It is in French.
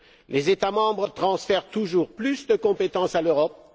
Les États membres transfèrent toujours plus de compétences à l'Europe.